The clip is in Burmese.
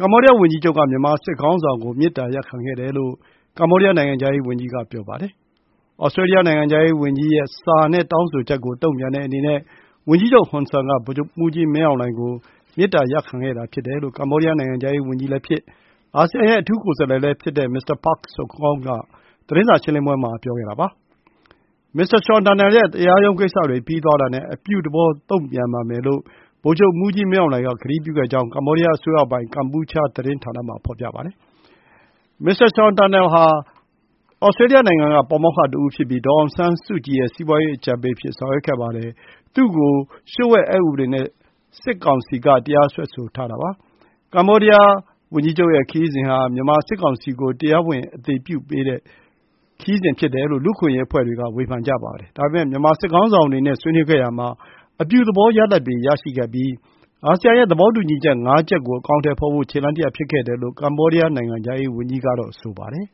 ကမ္ဘောဒီးယားဝန်ကြီးချုပ်က မြန်မာစစ်ခေါင်းဆောင်ကို မေတ္တာရပ်ခံခဲ့တယ်လို့ ကမ္ဘောဒီးယား နိုင်ငံခြားရေးဝန်ကြီး က ပြောပါတယ်။ Australia နိုင်ငံခြားရေးဝန်ကြီး Marise Payne ရဲ့စာနဲ့တောင်းဆိုချက်ကို တုံ့ပြန်တဲ့အနေနဲ့ ဝန်ကြီးချုပ်ဟွန်ဆန်က ဗိုလ်ချုပ်မှူးကြီးမင်းအောင်လှိုင်ကို မေတ္တာရပ်ခံခဲ့တာ ဖြစ်တယ်လို့ ကမ္ဘောဒီးယား နိုင်ငံခြားရေးဝန်ကြီးလည်းဖြစ်၊ အာဆီယံရဲ့အထူးကိုယ်စားလှယ်လည်း ဖြစ်တဲ့ Mr. Prak Sokhonn က သတင်းစာရှင်းလင်းပွဲမှာ ပြောခဲ့တာ ဖြစ်ပါတယ်။ မစ္စတာရှောင်တန်နယ်ရဲ့တရားရုံးကိစ္စတွေပြီးသွားတာနဲ့ အပြုသဘော တုံ့ပြန်ပါမယ်လို့ ဗိုလ်ချုပ်မှူးကြီးမင်းအောင်လှိုင်က ကတိပြုခဲ့တယ်လို့ကမ္ဘောဒီးယားအစိုးရပိုင် ကမ်ပူးချားသတင်းဌာနမှာဖော်ပြပါတယ်။ မစ္စတာ ရှောင်တန်နယ်ဟာ Australia နိုင်ငံက ပါမောက္ခတဦးဖြစ်ပြီး ဒေါ်အောင်ဆန်းစုကြည်ရဲ့ စီးပွါးရေးအကြံပေးအဖြစ် ဆောင်ရွက်ခဲ့ပါတယ်။ သူ့ကို နိုင်ငံတော်လျှို့ဝှက်အက်ဥပဒေနဲ့ စစ်ကောင်စီက တရားစွဲဆိုထားတာပါ။ ကမ္ဘောဒီယားဝန်ကြီးချုပ်ရဲ့ခရီးစဉ်ဟာ မြန်မာစစ်ကောင်စီကို တရားဝင် အသိအမှတ်ပြုပေးတဲ့ ခရီးစဉ်ဖြစ်တယ်လို့ လူ့အခွင့်အရေးအဖွဲ့တွေက ဝေဖန်ကြပါတယ်။ ဒါပေမဲ့ မြန်မာစစ်ခေါင်းဆောင်တွေနဲ့ ဆွေးနွေးခဲ့ရာမှာ အပြုသဘောရလဒ်တွေရခဲ့ပြီး အာဆီယံရဲ့ သဘောတူညီချက် ၅ ရပ်ကို အကောင်အထည်ဖော်ဖို့ ခြေလှမ်းတလှမ်း ဖြစ်ခဲ့တယ်လို့ ကမ္ဘောဒီးယား နိုင်ငံခြားရေးဝန်ကြီးက ဆိုပါတယ်